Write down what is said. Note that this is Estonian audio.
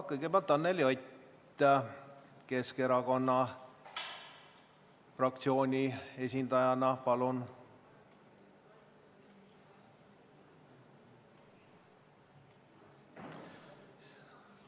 Kõigepealt Anneli Ott Keskerakonna fraktsiooni esindajana, palun!